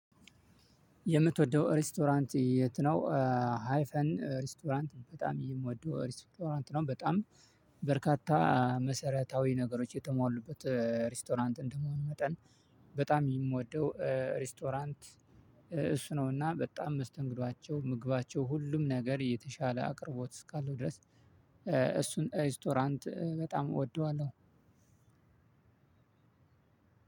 የምትወደው ሬስቶራንት የት ነው? ሃይፈን ሬስቶራንት በጣም የምወደው ሬስቶራንት ነው በጣም በርካታ መሰረታዊ ነገሮች የተሞሉበት ሪስቶራንት እንደመሆን መጠን በጣም የምወደው ሬስቶራንት። እሱ ነውና በጣም መስተንግዷቸው ምግባቸው ሁሉም ነገር የተሻለ አቅርቦት እስካለው ድረስ እሱን ሬስቶራንት በጣም እወደዋለሁ።